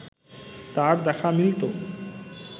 তার দেখা মিলত